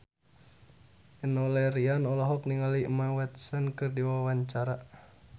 Enno Lerian olohok ningali Emma Watson keur diwawancara